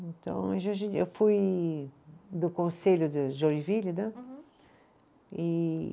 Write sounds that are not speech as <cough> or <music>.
Então, <unintelligible> eu fui do conselho de Joinville, né? Uhum. E